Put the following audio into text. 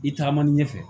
I tagama ɲɛfɛ